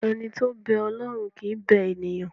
Ẹni tó ń bẹ Ọlọ́run kì í bẹ ènìyàn.